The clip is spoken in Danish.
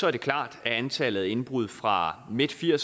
er det klart at antallet af indbrud fra midten af